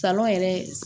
Salɔn yɛrɛ